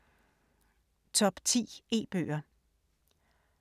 Top 10 e-bøger